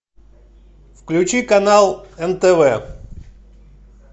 включи канал нтв